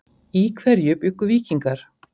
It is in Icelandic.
Í hverju bjuggu víkingar?